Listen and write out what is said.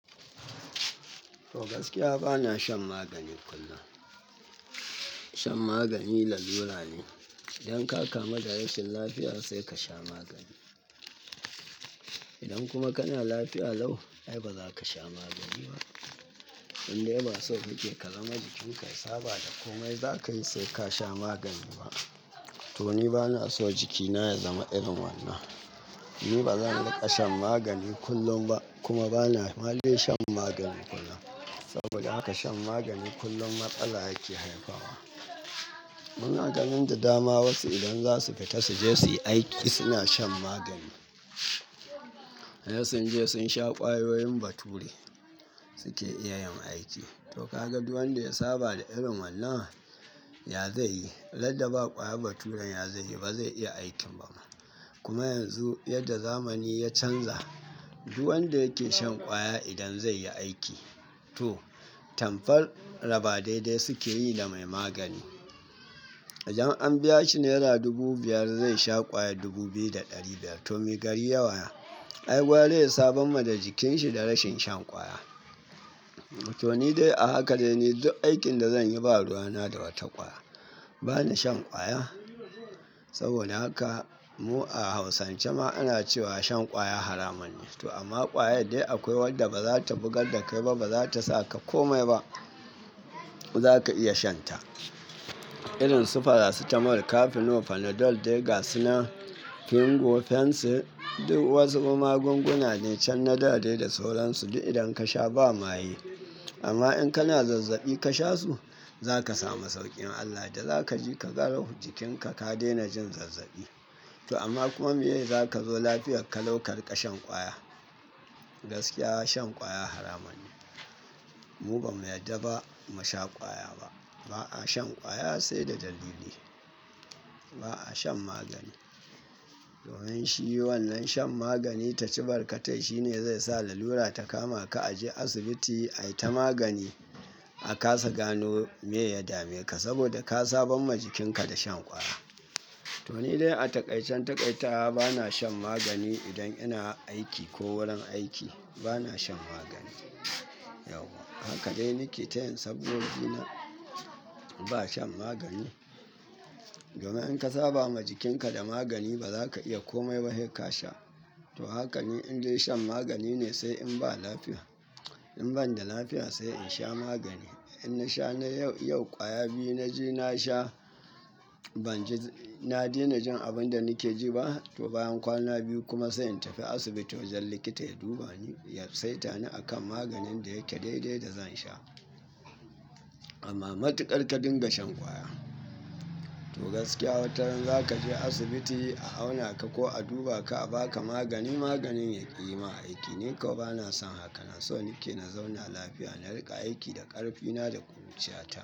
To gaskiya bana shan magani kullum. Shan magani lalura ne. Idan ka kama da rashin lafiya sai ka sha magani. Idan kuma kana lafiya lau, ai baza ka sha magani ba. Indai ba sokake ka zama jikinka yasaba da komai za ka yi sai ka sha magani ba. To ni bana so jikina ya zama irin wannan. Ni ba zan riƙa shan magani kullum ba kuma bana ma da yin shan magani kullum. Saboda haka shan magani kullum matsala yake haifarwa. Muna ganin da dama wasu idan za su fita su je su yi aiki suna shan magani. Sai sun je sun sha kwayoyin bature suke iya yin aiki. To ka ga duk wanda ya saba da irin wannan, ya zai yi? Radda ba ƙwayar baturen ya zaiyi ba zai iya aikin ba ma. Kuma yanzu yadda zamani ya canza duk wanda yake shan ƙwaya idan zai yi aiki. To, tamfar raba daidai suke yi da mai magani. Idan an biya shi nera dubu biyar, zai sha ƙwaya dubu biyu da ɗari biyar. To me gari yawaya? Ai gwara ya saban ma da jikinshi da rashin shan ƙwaya. To ni dai a haka dai ne duk aikin da zan yi ba ruwana da wata ƙwaya. Bana shan ƙwaya. Saboda haka mu a hausance ma ana cewa shan ƙwaya haramun ne. To amma ƙwayar dai akwai wadda ba za ta bugar da kai ba ba za ta sa ka komai ba. Za ka iya shan ta. Irin su Farasitamol, Kafinol, Fanadol, Dega, Sinar, Fingu, Fensir. Duk wasu kuma gunguna ne can na dadai da sauransu duk idan ka sha ba maye. Amma in kana zazzaɓi ka sha su, za ka sami sauƙin Allah da za ka ji ka garau jikinka ka daina jin zazzaɓi. To amma kuma meye za ka zo lafiyar ka laukari ƙashan ƙwaya? Gaskiya shan ƙwaya haramun ne. Mu ba mu yarda ba mu sha ƙwaya ba. Ba'a shan ƙwaya sai da dalili. Ba'a shan magani. Domin shi wannan shan magani ta cibarkatai shine zai sa lalura ta kama ka a je asibiti ai ta magani a ka sa gano me ya dame ka saboda ka sabon ma jikinka da shan ƙwaya. To ni dai a taƙaican taƙaitawa bana shan magani idan ina aiki ko wurin aiki bana shan magani. Yawwa haka dai nike ta yin sabgo gina ba shan magani. Domin in ka saba ma jikinka da magani ba za ka iya komai ba heka sha. To hakan ne in dai shan magani ne sai in ba lafiya. In ban da lafiya sai in sha magani. In na sha na yau, yau ƙwaya biyu na ji na sha, ban ji, na daina jin abin da nike ji ba. To bayan kwana biyu kuma sai in tafi asibiti wajen likita ya duba ni, ya saita ni a kan maganin da yake daidai da zan sha. Amma matuƙar ka dinga shan ƙwaya. To gaskiya wataran za ka je asibiti a auna ka ko a duba ka a ba ka magani maganin ya ƙi ma aiki. Ni kawai bana son haka. Na so nike na zauna lafiya. Na riƙa aiki da ƙarfina da ƙuruciya ta.